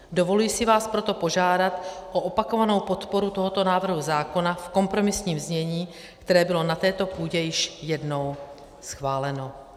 Dovoluji si vás proto požádat o opakovanou podporu tohoto návrhu zákona v kompromisních znění, které bylo na této půdě již jednou schváleno.